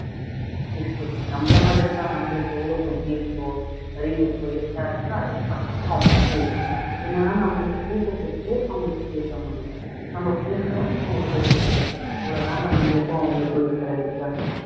இருக்கு நம்மளை மாதிரிதான் நம்மளுக்கு எவ்வளவு புத்தி இருக்கோ அறிவு இருக்கோ எல்லாருக்கும் அதே மாதிரித்தான் அவங்களுக்கும் இருக்கும் என்னனா நம்மளுக்கு பேச தெரியுது அவங்களுக்கு பேச முடியலை நம்ம பேசுறோம் அவங்க பேசுறது இல்ல அவ்வளவுதாங்க நம்மளுக்கும் அவங்களுக்கும் இருக்கிற வித்தியாசம்